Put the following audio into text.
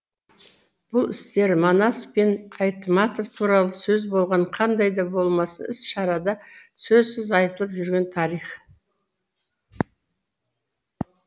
бұл істер манас пен айтматов туралы сөз болған қандай да болмасын іс шарада сөзсіз айтылып жүрген тарих